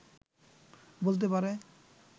বলতে পারে